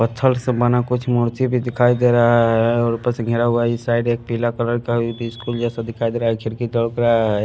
पत्थर से बना कुछ मूर्ति भी दिखाई दे रहा है और ऊपर से घेरा हुआ इस साइड एक पीला कलर का स्कूल जैसा दिखाई दे रहा है खिड़की दब रहा है।